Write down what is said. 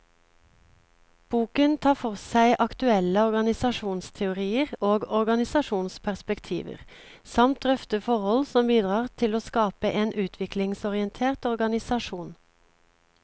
Boken tar for seg aktuelle organisasjonsteorier og organisasjonsperspektiver, samt drøfter forhold som bidrar til å skape en utviklingsorientert organisasjon.